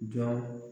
Jɔn